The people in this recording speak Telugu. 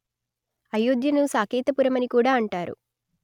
అయోధ్యను సాకేతపురమని కూడా అంటారు